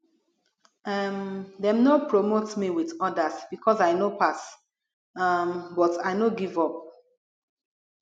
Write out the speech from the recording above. um dem no promote me wit odas because i no pass um but i no give up